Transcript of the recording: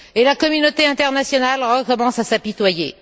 Et la communauté internationale recommence à s'apitoyer.